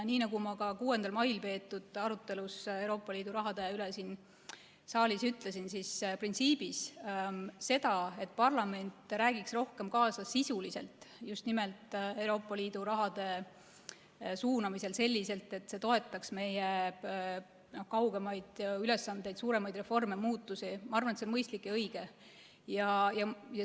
Nii nagu ma ka 6. mail peetud arutelus Euroopa Liidu raha üle siin saalis ütlesin, siis printsiibis see, et parlament räägiks rohkem kaasa sisuliselt just nimelt Euroopa Liidu raha suunamisel selliselt, et see toetaks meie kaugemaid ülesandeid, suuremaid reforme ja muutusi – ma arvan, et see on mõistlik ja õige.